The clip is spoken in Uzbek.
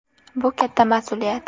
Bu katta mas’uliyat.